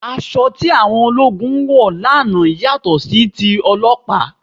Aṣọ tí àwọn ológun wọ̀ lánàá yàtọ̀ sí ti ọlọ́pàá